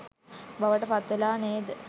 බවට පත්වෙලා නේද?